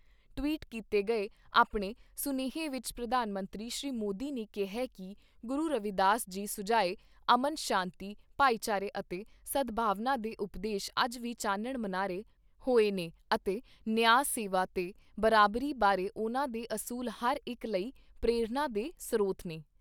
Tweet ਕੀਤੇ ਗਏ ਆਪਣੇ ਸੁਨੇਹੇ ਵਿਚ ਪ੍ਰਧਾਨ ਮੰਤਰੀ ਸ਼੍ਰੀ ਮੋਦੀ ਨੇ ਕਿਹਾ ਕਿ ਗੁਰੂ ਰਵੀਦਾਸ ਜੀ ਸੁਝਾਏ ਅਮਨ ਸ਼ਾਂਤੀ, ਭਾਈਚਾਰੇ ਅਤੇ ਸਦਭਾਵਨਾ ਦੇ ਉਪਦੇਸ਼ ਅੱਜ ਵੀ ਚਾਨਣ ਮੁਨਾਰੇ ਹੋਏ ਨੇ ਅਤੇ ਨਿਆ, ਸੇਵਾ ਤੇ ਬਰਾਬਰੀ ਬਾਰੇ ਉਨ੍ਹਾਂ ਦੇ ਅਸੂਲ ਹਰ ਇਕ ਲਈ ਪ੍ਰੇਰਣਾ ਦੇ ਸਰੋਤ ਨੇ।